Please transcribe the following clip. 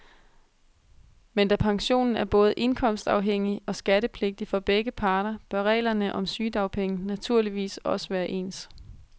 Men da pensionen er både indkomstafhængig og skattepligtig for begge parter, bør reglerne om sygedagpenge naturligvis også være ens.